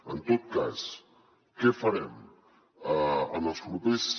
en tot cas què farem en els propers